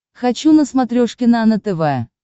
хочу на смотрешке нано тв